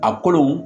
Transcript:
A kolo